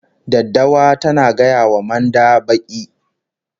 Daddawa tana gaya wa manda baki